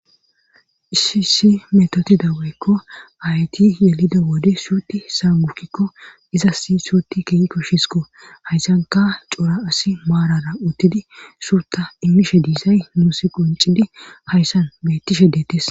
Isisi metotidaweykko hayti yelida wode suuti saagukkikko izas suuti keeyi koshshisiko hayssanka cora asi maarara uttidi suuta immishe diizay muusi qoncidi hayssan bettishe deetes.